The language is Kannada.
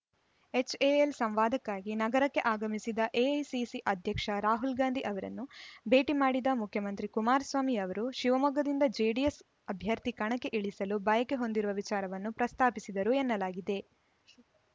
ಎಚ್‌ಎಎಲ್‌ ಸಂವಾದಕ್ಕಾಗಿ ನಗರಕ್ಕೆ ಆಗಮಿಸಿದ್ದ ಎಐಸಿಸಿ ಅಧ್ಯಕ್ಷ ರಾಹುಲ್‌ ಗಾಂಧಿ ಅವರನ್ನು ಭೇಟಿ ಮಾಡಿದ ಮುಖ್ಯಮಂತ್ರಿ ಕುಮಾರಸ್ವಾಮಿ ಅವರು ಶಿವಮೊಗ್ಗದಿಂದ ಜೆಡಿಎಸ್‌ ಅಭ್ಯರ್ಥಿ ಕಣಕ್ಕೆ ಇಳಿಸಲು ಬಯಕೆ ಹೊಂದಿರುವ ವಿಚಾರವನ್ನು ಪ್ರಸ್ತಾಪಿಸಿದರು ಎನ್ನಲಾಗಿದೆ